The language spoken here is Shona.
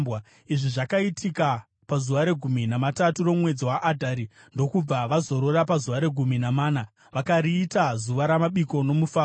Izvi zvakaitika pazuva regumi namatatu romwedzi waAdhari, ndokubva vazorora pazuva regumi namana, vakariita zuva ramabiko nomufaro.